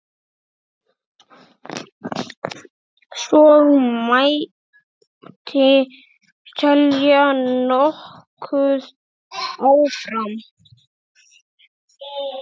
Svo mætti telja nokkuð áfram.